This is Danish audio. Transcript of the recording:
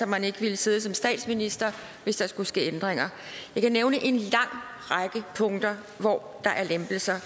man ikke ville sidde som statsminister hvis der skulle ske ændringer jeg kan nævne en lang række punkter hvor der er lempelser